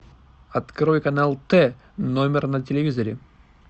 открой канал т номер на телевизоре